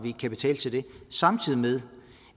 kapital til det samtidig med